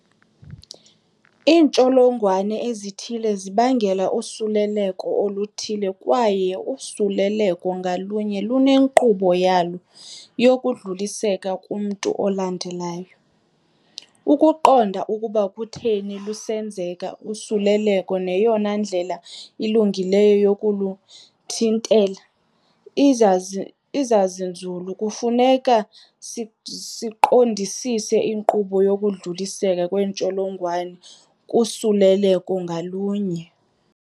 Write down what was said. Iintsholongwane ezithile zibangela usuleleko oluthile kwaye usuleleko ngalunye lune nkqubo yalo yokudluliseka kumntu olandelayo. Ukuqonda ukuba kutheni lusenzeka usuleleko neyona ndlela ilungileyo yokuluthintela, izazi izazinzulu kufuneka siqondisise inkqubo yokudluliseka kweentsholongwane kusuleleko ngalunye.